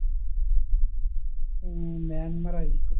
ഉം മ്യാൻമർ ആയിരിക്കും